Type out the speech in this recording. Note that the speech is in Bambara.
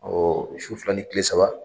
Ɔ su fila ni kile saba.